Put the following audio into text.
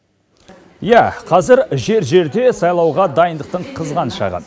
иә қазір жер жерде сайлауға дайындықтың қызған шағы